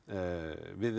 við